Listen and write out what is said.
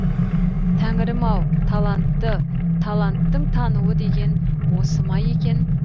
тәңірім ау талантты таланттың тануы деген осы ма екен